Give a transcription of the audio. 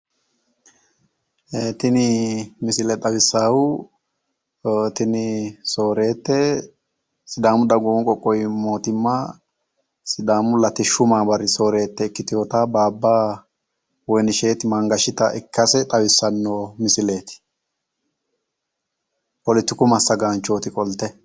Tini misile xawissaahu tini sooreette sidaamu dagoomu qoqqowi mootimma sidaamu latishshu maamari sooreette ikkitewota Baaba woyinishet Mangashita ikkase xawissanno misileeti. Polotiku massagaanchooti qolte.